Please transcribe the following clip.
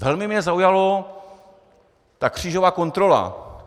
Velmi mě zaujala ta křížová kontrola.